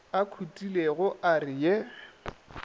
a khutilego a re ye